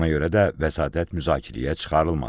Ona görə də vəsatət müzakirəyə çıxarılmadı.